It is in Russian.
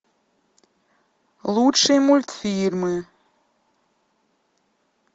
лучшие мультфильмы